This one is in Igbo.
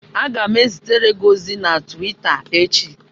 Aga m ezitere gị ozi na Twita echi